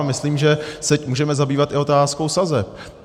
A myslím, že se můžeme zabývat i otázkou sazeb.